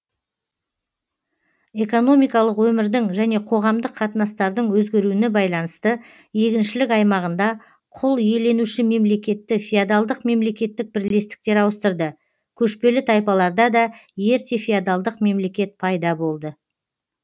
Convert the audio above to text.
экономикалық өмірдің және қоғамдық қатынастардың өзгеруіне байланысты егіншілік аймағында құл иеленуші мемлекетті феодалдық мемлекеттік бірлестіктер ауыстырды көшпелі тайпаларда да ерте феодалдық мемлекет пайда болды